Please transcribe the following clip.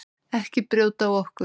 Ekki brjóta á okkur.